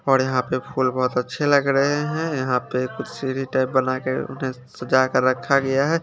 और यहां पे फूल बहुत अच्छे लग रहे हैं यहां पे कुछ सीढ़ी टाइप बना के उन्हें सजा के रखा गया है।